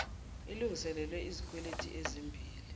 ilngiselelo lezikweleti ezimbi